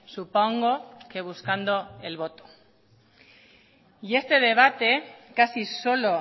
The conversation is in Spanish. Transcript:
supongo que buscando el voto y este debate casi solo